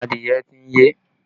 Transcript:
Adìẹ ti ń yé.